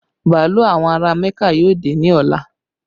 Bàálù àwọn ará Mẹ́kà yóò dé ní ọ̀la